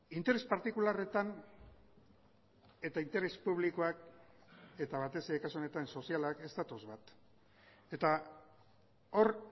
interes partikularretan eta interes publikoak eta batez ere kasu honetan sozialak ez datoz bat eta hor